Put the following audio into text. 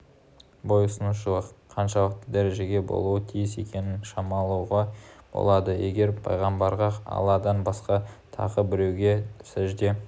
бойұсынушылық қаншалықты дәрежеде болуы тиіс екенін шамалауға болады егер пайғамбарға алладан басқа тағы біреуге сәжде